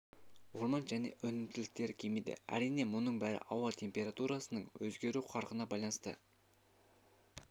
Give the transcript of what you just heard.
орман және өнімділіктері кемиді әрине мұның бәрі ауа температурасының өзгеру қарқынына байланысты